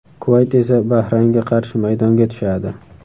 Kuvayt esa Bahraynga qarshi maydonga tushadi.